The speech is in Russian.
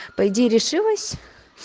по идее решилась